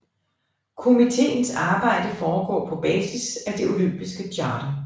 Komiteens arbejde foregår på basis af det olympiske charter